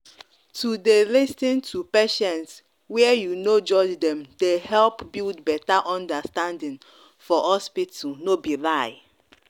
to dey lis ten to patients were you no judge dem dey help build better understanding for hospital no be lie.